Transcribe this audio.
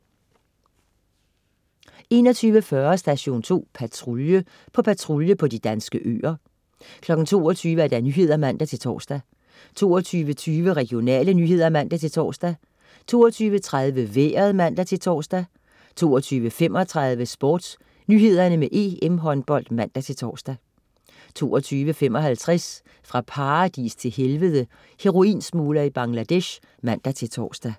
21.40 Station 2 Patrulje. På patrulje på de danske øer 22.00 Nyhederne (man-tors) 22.20 Regionale nyheder (man-tors) 22.30 Vejret (man-tors) 22.35 SportsNyhederne med EM-Håndbold (man-tors) 22.55 Fra paradis til helvede. heroinsmugler i Bangladesh (man-tors)